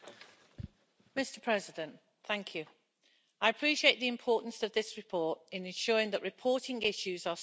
Mr President, I appreciate the importance of this report in ensuring that reporting issues are streamlined.